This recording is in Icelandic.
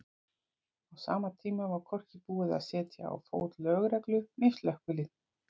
Á sama tíma var hvorki búið að setja á fót lögreglu né slökkvilið.